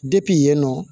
yen nɔ